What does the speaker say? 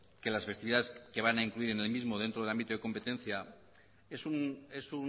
que las festividades que van a incluir en el mismo dentro del ámbito de competencia es